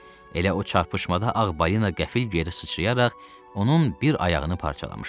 Elə o çarpışmada Ağ Balina qəfil geri sıçrayaraq onun bir ayağını parçalamışdı.